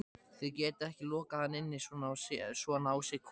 Þið getið ekki lokað hann inni svona á sig kominn